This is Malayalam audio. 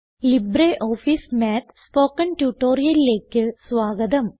ലിബ്രിയോഫീസ് മാത്ത് സ്പോക്കൺ ട്യൂട്ടോറിയലിലേക്ക് സ്വാഗതം